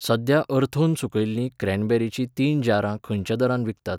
सध्या अर्थोन सुकयल्लीं क्रॅनबेरीचीं तीन जारां खंयच्या दरान विकतात?